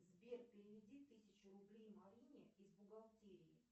сбер переведи тысячу рублей марине из бухгалтерии